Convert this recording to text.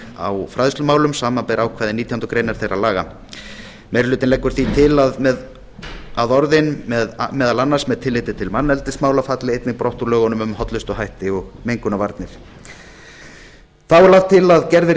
einnig fræðslumálum samanber ákvæði nítjánda grein þeirra meiri hlutinn leggur því til að orðin meðal annars með tilliti til manneldismála falli einnig brott úr lögum um hollustuhætti og mengunarvarnir þá er lagt til að gerð verði breyting